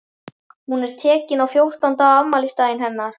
Hún er tekin á fjórtán ára afmælisdaginn hennar.